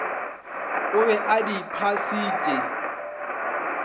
o be a di phasitše